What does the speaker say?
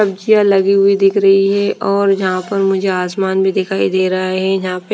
सब्जियाँ लगी हुई दिख रही है और यहाँ पर मुझे आसमान भी दिखाई दे रहा है यहाँ पे --